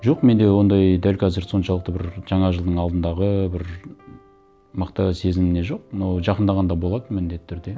жоқ менде ондай дәл қазір соншалықты бір жаңа жылдың алдындағы бір мықты сезім не жоқ но жақындағанда болады міндетті түрде